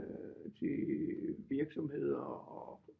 Til virksomheder og